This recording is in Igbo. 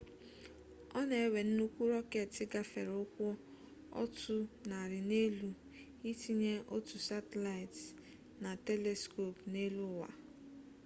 o na-ewe nnukwu rọketi gafere ụkwụ otu narị n'elu itinye otu satịlaịtị na teliskop n'eluụwa